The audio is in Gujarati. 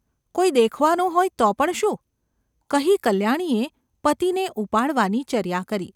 ‘કોઈ દેખવાનું હોય તો પણ શું ?’ કહી કલ્યાણીએ પતિને ઉપાડવાની ચર્યા કરી.